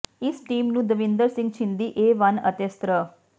ਇਸ ਟੀਮ ਨੂੰ ਦਵਿੰਦਰ ਸਿੰਘ ਛਿੰਦੀ ਏ ਵੰਨ ਅਤੇ ਸ੍ਰ